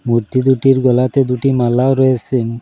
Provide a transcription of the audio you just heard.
মূর্তি দুটির গলাতে দুটি মালাও রয়েসে।